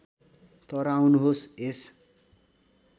तर आउनुहोस् यस